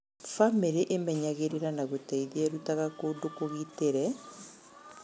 Bamĩrĩ ĩmenyagĩrĩra na gũteithia ĩrutaga kũndũ kũgitĩre